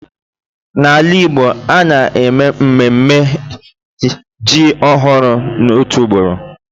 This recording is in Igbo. N'ala igbo, a na-eme mmemme ji ọhụrụ otu ugboro.